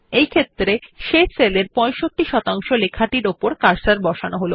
সুতরাং শেষ সেলের 65 লেখাটির পরে কার্সার বসান